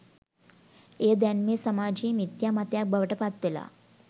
එය දැන් මේ සමාජයේ මිත්‍යා මතයක් බවට පත්වෙලා